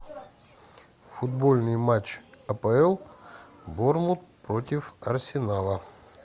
футбольный матч апл борнмут против арсенала